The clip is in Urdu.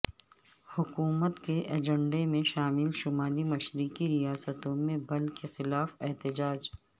حکومت کے ایجنڈے میں شامل شمالی مشرقی ریاستوں میں بل کے خلاف احتجاج